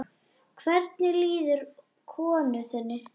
Hvernig líður konu þinni?